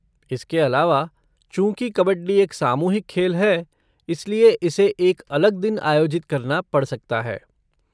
इसके अलावा, चूंकि कबड्डी एक सामूहिक खेल है, इसलिए इसे एक अलग दिन आयोजित करना पड़ सकता है।